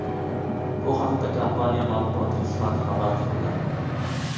Bu haqda kompaniya matbuot xizmati xabar qildi.